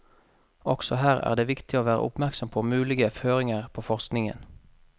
Også her er det viktig å være oppmerksom på mulige føringer på forskningen.